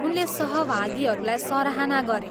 उनले सहभागीहरूलाई सराहना गरे।